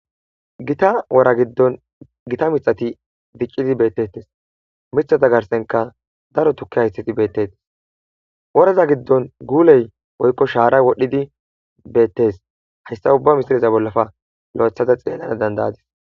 gita wora giddon gita mithati diccidi beettettes mithata garsenka daro tukke haysthati beettetes woraza giddon guuley woykko shaara wodhdhidi beettes hayssa ubba misileza bollafe lo7ethada xeellana dandayadis.